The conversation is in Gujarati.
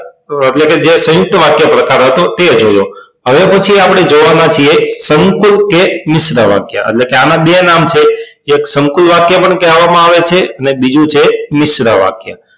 એટલે કે જે સંયુક્ત વાક્ય પ્રકાર હતો તે જોયો હવે પછી આપડે જોવાના છીએ સંકૂલ કે મિશ્ર વાક્ય એટલે કે આના બે નામ છે એક સંકૂલ વાક્ય પણ કહેવામાં આવે છે અને બીજું છે મિશ્ર વાક્ય